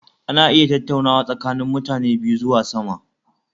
Ana iya tattaunawa tsakanin mutani biyu zuwa sama